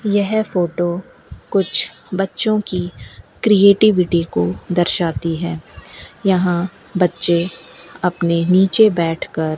यह फोटो कुछ बच्चों की क्रिएटिविटी को दर्शाती है यहां बच्चे अपने नीचे बैठकर --